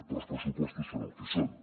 però els pressupostos són el que són